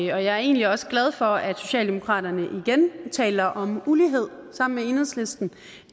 jeg er egentlig også glad for at socialdemokraterne igen taler om ulighed sammen med enhedslisten